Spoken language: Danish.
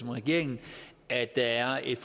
regeringen at der er et